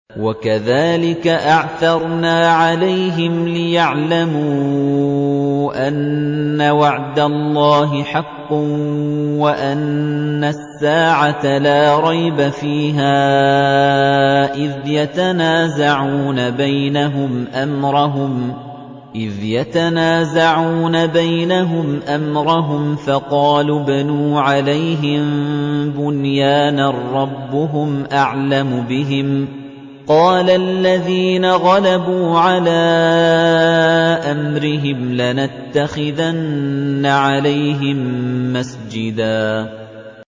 وَكَذَٰلِكَ أَعْثَرْنَا عَلَيْهِمْ لِيَعْلَمُوا أَنَّ وَعْدَ اللَّهِ حَقٌّ وَأَنَّ السَّاعَةَ لَا رَيْبَ فِيهَا إِذْ يَتَنَازَعُونَ بَيْنَهُمْ أَمْرَهُمْ ۖ فَقَالُوا ابْنُوا عَلَيْهِم بُنْيَانًا ۖ رَّبُّهُمْ أَعْلَمُ بِهِمْ ۚ قَالَ الَّذِينَ غَلَبُوا عَلَىٰ أَمْرِهِمْ لَنَتَّخِذَنَّ عَلَيْهِم مَّسْجِدًا